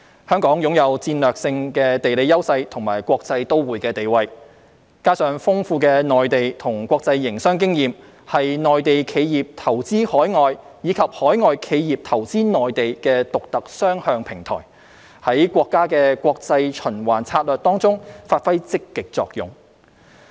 香港擁有戰略性地理優勢和國際都會地位，加上豐富的內地和國際營商經驗，是內地企業投資海外，以及海外企業投資內地的獨特雙向平台，在國家的國際循環策略中發揮積極作用。